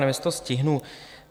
Nevím, jestli to stihnu.